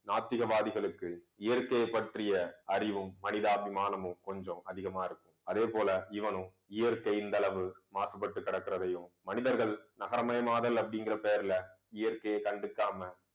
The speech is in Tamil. நாத்திகவாதிகளுக்கு இயற்கையைப் பற்றிய அறிவும் மனிதாபிமானமும், கொஞ்சம் அதிகமா இருக்கும். அதே போல, இவனும் இயற்கை இந்தளவு மாசுபட்டு கிடக்கிறதையும் மனிதர்கள் நகரமயமாதல் அப்படிங்கிற பேர்ல இயற்கையை கண்டுக்காம